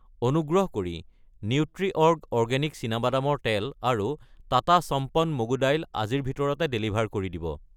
অনুগ্ৰহ কৰি নিউট্ৰিঅৰ্গ অকৃত্ৰিম চীনাবাদামৰ তেল আৰু টাটা সম্পন মগু দাইল আজিৰ ভিতৰতে ডেলিভাৰ কৰি দিব।